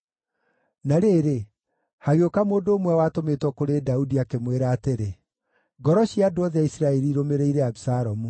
Na rĩrĩ, hagĩũka mũndũ ũmwe watũmĩtwo kũrĩ Daudi, akĩmwĩra atĩrĩ, “Ngoro cia andũ othe a Isiraeli irũmĩrĩire Abisalomu.”